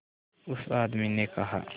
उस आदमी ने कहा